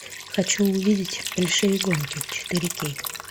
хочу увидеть большие гонки четыре кей